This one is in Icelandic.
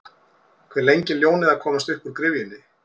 Hve lengi er ljónið að komast uppúr gryfjunni?